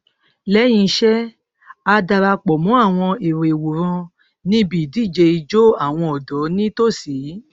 lẹyìn iṣẹ a dara pọ mọ àwọn èrò ìwòran níbi idije ijó àwọn ọdọ ní tòsí